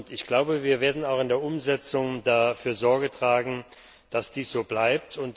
Ich glaube, wir werden auch in der Umsetzung dafür Sorge tragen, dass dies so bleibt.